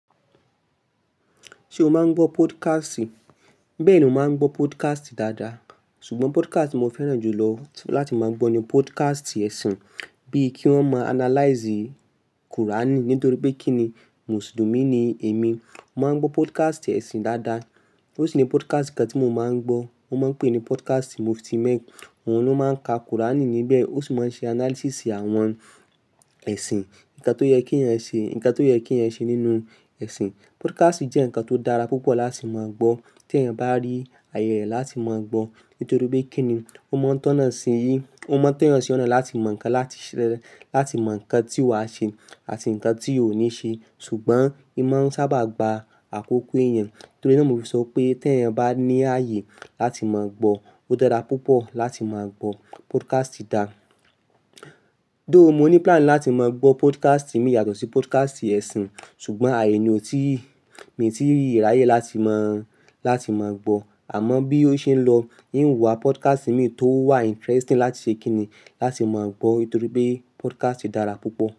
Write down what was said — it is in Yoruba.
Ṣé o máa ń gbọ́ podcast? Bẹ́ẹ̀ni mo máa ń gbọ́ podcast dáadáa. Ṣùgbọ́n podcast ti mó fẹ́ràn jù lọ láti máa gbọ́ ni podcast ẹ̀sìn, bíi kí wọ́n máa analyze Qur'an nítorí pé kí ni Mùsùlùmí ni èmi. Mo máa ń gbọ́ podcast ẹ̀sìn dáadáa. Ó sì ni podcast kan tí mo máa ń gbọ́, wọ́n máa ń pè é ní podcast Mufti Menk. Oun ló máa ń ka Qur'an níbẹ̀, ó sì máa ń ṣe analysis àwọn ẹ̀sìn. Ǹnkan tó yẹ kí ẹeyan ṣe, ǹnkan tó yẹ kí ẹeyan ṣe nínú ẹ̀sìn. Podcast jẹ́ ǹnkan tó dára púpọ̀ láti máa gbọ́, tí ẹ̀eyan bá rí àyè rẹ̀ láti máa gbọ́. Nítorí pé kí ni, ó mọ́ n tọ́na sí ó mọ́ n tọ́ eeyan sí ọ̀nà láti mọ̀ ǹnkan láti ṣẹ daadaa, láti mọ̀ ǹnkan tí wàá ṣe àti ǹnkan tí óò ní ṣe. Ṣùgbọ́n e máa ń sábà gba àkókò ẹ̀eyan. Torí e ni mo fi sọ pé tí ẹ̀eyan bá ní ààyè láti máa gbọ́, ó dára púpọ̀ láti máa gbọ́ podcast dáa. Tho, mo ní plan láti máa gbọ́ podcast mi yàtọ̀ sí podcast ẹ̀sìn, ṣùgbọ́n ààyè ni ò tíì, mi ò tíì rí àyè láti máa, láti máa gbọ́. Àmọ́ bí ó ṣe ń lọ, n yó wá podcast mi tó wà interesting láti ṣe kí ni, láti máa gbọ́. Nítorí pé podcast dára púpọ̀